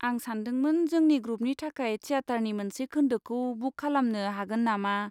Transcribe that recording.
आं सानदोंमोन जोंनि ग्रुपनि थाखाय थियाथारनि मोनसे खोन्दोखौ बुक खालामनो हागोन नामा?